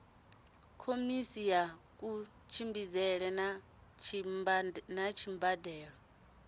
khomese ya kutshimbidzele na dzimbandelo